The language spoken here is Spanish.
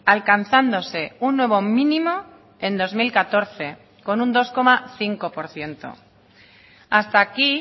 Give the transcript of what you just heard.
alcanzándose un nuevo mínimo en dos mil catorce con un dos coma cinco por ciento hasta aquí